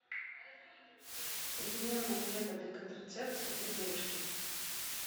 современные методы контрацепции для девушки